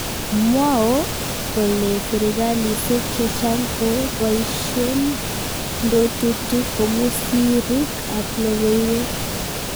mwao kole serkalisiek chechang kobaisien ndotutik komu sirrik ab lokoiwek